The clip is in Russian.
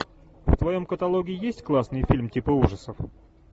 в твоем каталоге есть классный фильм типа ужасов